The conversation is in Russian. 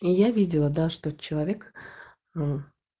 и я видела да что человек ну